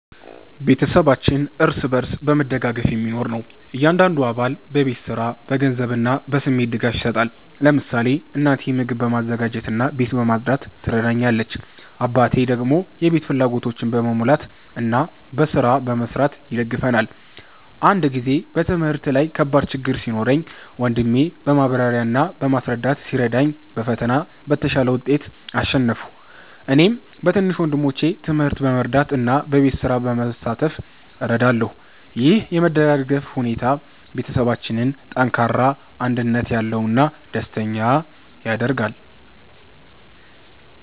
ቤተሰባችን እርስ በርስ በመደጋገፍ የሚኖር ነው። እያንዳንዱ አባል በቤት ስራ፣ በገንዘብ እና በስሜት ድጋፍ ይሰጣል። ለምሳሌ እናቴ ምግብ በማዘጋጀት እና ቤት በማጽዳት ትረዳኛለች፣ አባቴ ደግሞ የቤት ፍላጎቶችን በመሙላት እና በስራ በመስራት ይደግፈናል። አንድ ጊዜ በትምህርት ላይ ከባድ ችግኝ ሲኖረኝ ወንድሜ በማብራሪያ እና በማስረዳት ሲረዳኝ በፈተና በተሻለ ውጤት አሸነፍሁ። እኔም በትንሽ ወንድሞቼ ትምህርት በመርዳት እና በቤት ስራ በመሳተፍ እረዳለሁ። ይህ የመደጋገፍ ሁኔታ ቤተሰባችንን ጠንካራ፣ አንድነት ያለው እና ደስተኛ ያደርጋል።